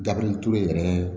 Dabirintu yɛrɛ